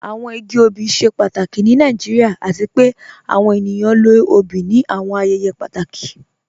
Awọn igi ọbì ṣẹ pàtàkì ni Nàìjíríà, àti pẹ̀ àwọn ènìyàn lọ ọ̀bì ní àwọn ayẹyẹ pàtàkì.